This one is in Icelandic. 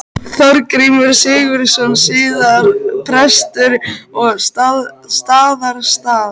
Þorgrímur Sigurðsson, síðar prestur á Staðarstað.